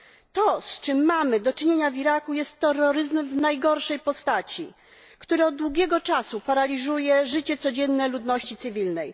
To, z czym mamy do czynienia w Iraku, jest terroryzmem w najgorszej postaci, który od długiego czasu paraliżuje życie codzienne ludności cywilnej.